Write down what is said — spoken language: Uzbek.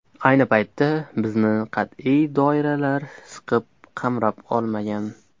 Ayni paytda bizni qat’iy doiralar siqib, qamrab olmagan.